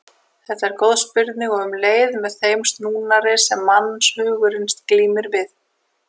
Þetta er góð spurning og um leið með þeim snúnari sem mannshugurinn glímir við.